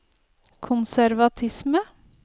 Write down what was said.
konservatisme